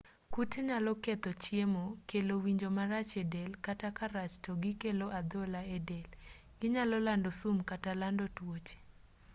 kute nyalo ketho chiemo kelo winjo marach edel kata ka rach to gikelo adhola edel ginyalo lando sum kata lando tuoche